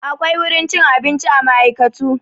Akwai wurin cin abinci a ma'aikatu.